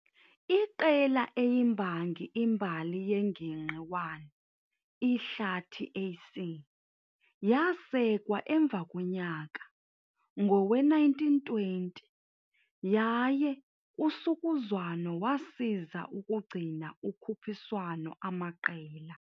Iqela eyimbangi imbali yengingqi i Ihlathi AC, yasekwa emva konyaka, ngowe-1920, yaye usukuzwano wasiza ukugcina ukhuphiswano amaqela.